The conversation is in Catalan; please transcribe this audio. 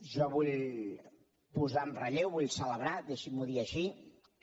jo vull posar en relleu vull celebrar deixi m’ho dir així que